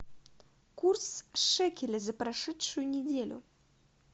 курс шекеля за прошедшую неделю